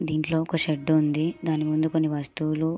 దీనిలో ఒక షర్ట్ ఉంది దాని ముందు కొన్ని వస్తువులు--